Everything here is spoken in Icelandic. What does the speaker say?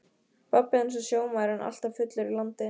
Pabbi hans var sjómaður en alltaf fullur í landi.